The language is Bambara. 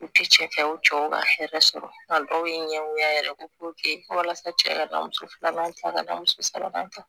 U tɛ cɛ kɛ u cɛw ka hɛrɛ sɔrɔ la dɔw ye ɲɛgoya yɛrɛ walasa cɛ ka da muso fila man ca ka da muso saba kan